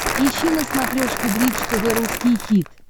ищи на смотрешке бридж тв русский хит